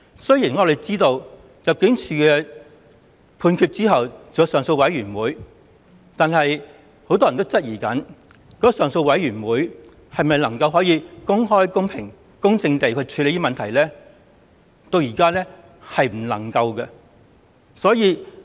雖然我們知道入境處作出判決後還有上訴委員會，但很多人也質疑上訴委員會能否公開、公平、公正地處理問題，至今仍無法令人信服。